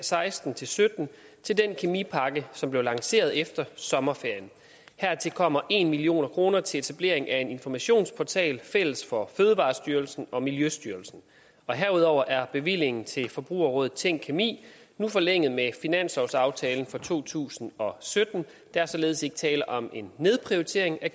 seksten til sytten til den kemipakke som blev lanceret efter sommerferien hertil kommer en million kroner til etablering af en informationsportal fælles for fødevarestyrelsen og miljøstyrelsen og herudover er bevillingen til forbrugerrådet tænk kemi nu forlænget med finanslovsaftalen for to tusind og sytten der er således ikke tale om en nedprioritering af